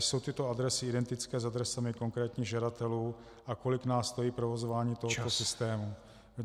Jsou tyto adresy identické s adresami konkrétních žadatelů a kolik nás stojí provozování tohoto systému?